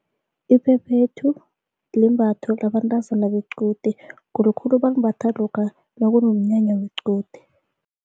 Iphephethu limbatho yabantazana bequde khulukhulu balimbatha lokha nakunomnyanya wequde.